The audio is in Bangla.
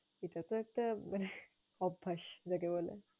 এটাতো একটা অভ্যাস যাকে বলে।